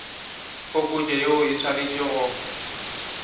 phokotšo yeo e swanetše go